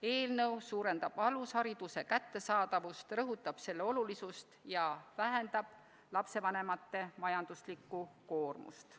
Eelnõu suurendab alushariduse kättesaadavust, rõhutab selle olulisust ja vähendab lapsevanemate majanduslikku koormust.